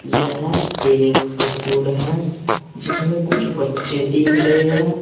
यह एक स्कूल है जिसमें कुछ बच्चे दिख रहे हैं।